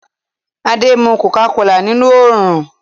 Adé ń mu kòká kolà nínú oòrùn